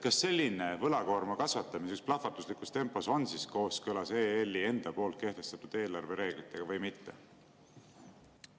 Kas selline võlakoorma kasvatamine plahvatuslikus tempos on kooskõlas EL-i enda poolt kehtestatud eelarvereeglitega või mitte?